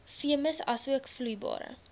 veemis asook vloeibare